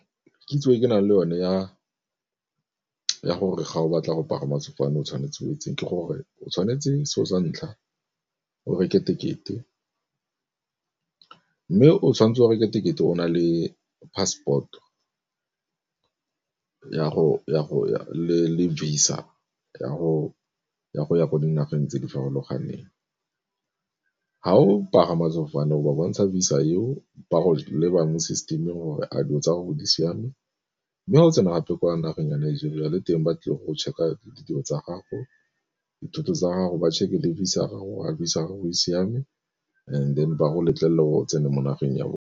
Kitso e ke nang le yone ya gore ga o batla go pagama sefofane o tshwanetse o etseng, ke gore o tshwanetse selo sa ntlha o reke tekete, mme o tshwanetse o reke tekete o na le passport-o le Visa ya go ya ko dinageng tse di farologaneng. Fa o pagama sefofane go ba bontsha Visa eo ba go leba mo system gore a dilo tsa gago tse di siame, mme ga o tsena gape kwa nageng ya Nigeria le teng ba tlile go check-a ditiro tsa gago, dithoto tsa gago, ba checker le Visa gago gore a Visa ya gago e siame and then ba go letlelela go tsena mo nageng ya bone.